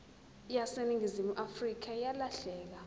yaseningizimu afrika yalahleka